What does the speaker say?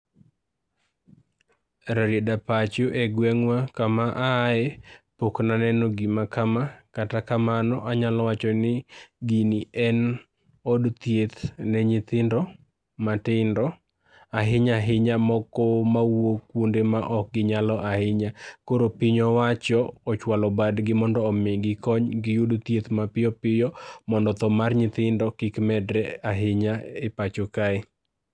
Rarieda pacho e gweng'wa kama aeye pok naneno gima kama, kata kamano anyalo wachoni gini en od thieth ne nyithindo matindo, ahinya ahinya moko ma wuok kuonde ma ok ginyalo ahinya. Koro piny owacho ochwalo badgi mondo omigi kony mondo giyud thieth mapiyo piyo mondo tho mar nyithindo kik medre ahinya e pacho kae.